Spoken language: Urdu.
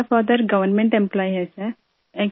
میرے والد ایک سرکاری ملازم ہیں سر